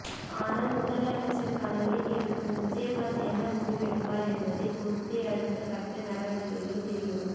ஆனால் முதலமைச்சர் கனவில் இருக்கும் விஜயகாந்த் என்ன முடிவெடுப்பார் என்பதை பொறுத்தே அடுத்த கட்ட நடவடிக்கைகள் தெரியவரும்